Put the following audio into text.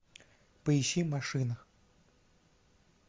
поищи машина